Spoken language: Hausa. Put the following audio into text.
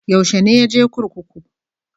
Yaushe ne ya je kurkuku?